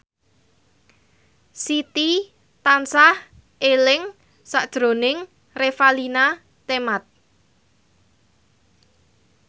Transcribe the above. Siti tansah eling sakjroning Revalina Temat